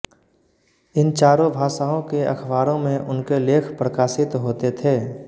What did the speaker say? इन चारों भाषाओं के अखबारों में उनके लेख प्रकाशित होते थे